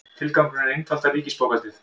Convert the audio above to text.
Tilgangurinn er að einfalda ríkisbókhaldið